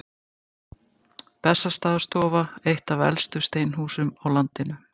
Bessastaðastofa, eitt af elstu steinhúsum á landinu.